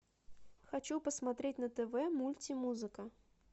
хочу посмотреть на тв мультимузыка